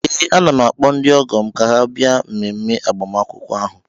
Ee, ana m akpọ ndị ọgọ m ka ha bịa mmemme agbamakwụkwọ ahụ